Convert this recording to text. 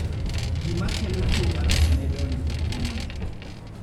Gima kelo tuwo mar Sneddon ok ong'ere.